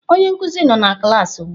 Onye nkuzi nọ na klaasị ugbu a.